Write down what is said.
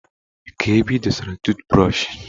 Kee ebee ịdọ sara tụụt brọshị?